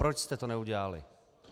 Proč jste to neudělali?